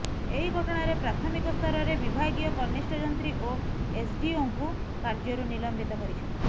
ଏହି ଘଟଣାରେ ପ୍ରାଥମିକ ସ୍ତରରେ ବିଭାଗୀୟ କନିଷ୍ଠ ଯନ୍ତ୍ରୀ ଓ ଏସଡ଼ିଓଙ୍କୁ କାର୍ଯ୍ୟରୁ ନିଲମ୍ବିତ କରିଛନ୍ତି